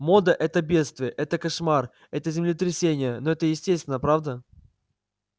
мода это бедствие это кошмар это землетрясение но это естественно правда